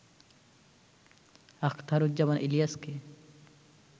Akhtaruzzaman ইলিয়াসকে